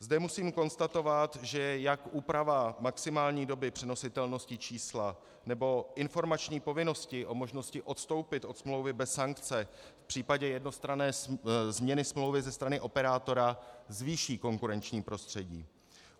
Zde musím konstatovat, že jak úprava maximální doby přenositelnosti čísla nebo informační povinnosti o možnosti odstoupit od smlouvy bez sankce v případě jednostranné změny smlouvy ze strany operátora zvýší konkurenční prostředí.